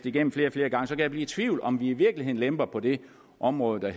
igennem flere og flere gange kan jeg blive i tvivl om i virkeligheden lemper på det område der